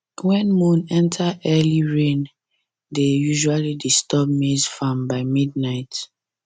when moon enter early rain dey usually disturb maize farm by midnight